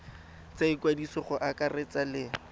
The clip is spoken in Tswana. tsa ikwadiso go akaretsa le